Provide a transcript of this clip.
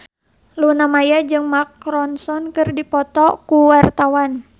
Luna Maya jeung Mark Ronson keur dipoto ku wartawan